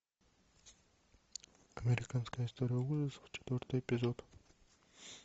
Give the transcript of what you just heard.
американская история ужасов четвертый эпизод